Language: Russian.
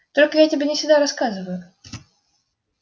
только я тебе не всегда рассказываю